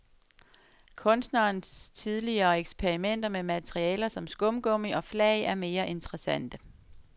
Kunstnerens tidligere eksperimenter med materialer som skumgummi og flag er mere interessante.